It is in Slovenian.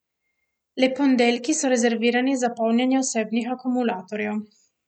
Le ponedeljki so rezervirani za polnjenje osebnih akumulatorjev.